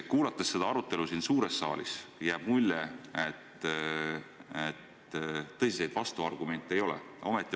Kuulates seda arutelu siin suures saalis, jääb mulje, et tõsiseid vastuargumente ettepanekutele ei ole.